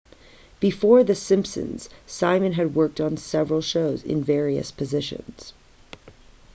before the simpsons simon had worked on several shows in various positions